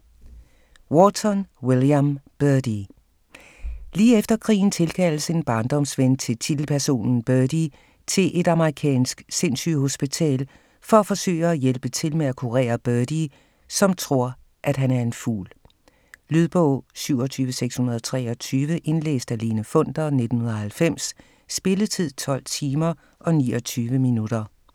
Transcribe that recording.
Wharton, William: Birdy Lige efter krigen tilkaldes en barndomsven til titelpersonen Birdie til et amerikansk sindssygehospital for at forsøge at hjælpe til med at kurere Birdie, som tror, at han er en fugl. Lydbog 27623 Indlæst af Lene Funder, 1990. Spilletid: 12 timer, 29 minutter.